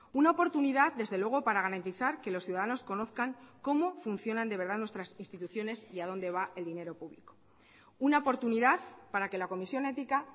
una oportunidad desde luego para garantizar que los ciudadanos conozcan cómo funcionan de verdad nuestras instituciones y a dónde va el dinero público una oportunidad para que la comisión ética